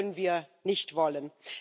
Das können wir nicht wollen.